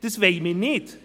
Das wollen wir nicht.